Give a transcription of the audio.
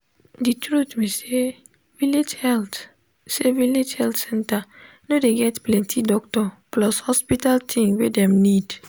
de truth be sayvillage health sayvillage health center no dey get plenti doctor plus hospital thing wey dem need.